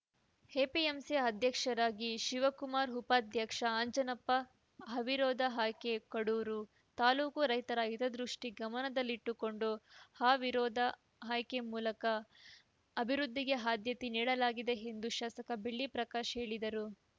APMC ಅಧ್ಯಕ್ಷರಾಗಿ ಶಿವಕುಮಾರ್‌ ಉಪಾಧ್ಯಕ್ಷರಾಗಿ ಅಂಜನಪ್ಪ ಅವಿರೋಧ ಆಯ್ಕೆ ಕಡೂರು ತಾಲೂಕು ರೈತರ ಹಿತದೃಷ್ಟಿಗಮನದಲ್ಲಿಟ್ಟುಕೊಂಡು ಅವಿರೋಧ ಆಯ್ಕೆ ಮೂಲಕ ಅಭಿವೃದ್ದಿಗೆ ಆದ್ಯತೆ ನೀಡಲಾಗಿದೆ ಎಂದು ಶಾಸಕ ಬೆಳ್ಳಿ ಪ್ರಕಾಶ್‌ ಹೇಳಿದರು